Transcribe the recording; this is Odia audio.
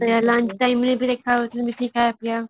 lunch timeରେ ବି ଦେଖା ହଉଥିଲେ କି ଖାଇୟା ପିଇୟା